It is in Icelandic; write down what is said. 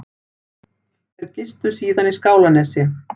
Þeir gistu síðan í Skálanesi